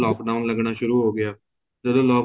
lock down ਲੱਗਣਾ ਸ਼ੁਰੂ ਹੋ ਗਿਆ ਜਦੋਂ